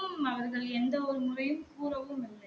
கும் அவர்கள் எந்த ஒரு முறையும் கூறவும் இல்லை